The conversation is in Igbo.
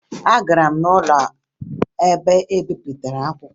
Agara m n'ụlọ ebe mbipụta akwụkwọ